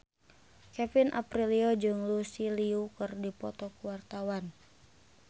Kevin Aprilio jeung Lucy Liu keur dipoto ku wartawan